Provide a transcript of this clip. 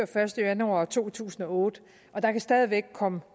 første januar to tusind og otte og der kan stadig væk komme